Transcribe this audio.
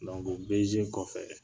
BG kɔfɛ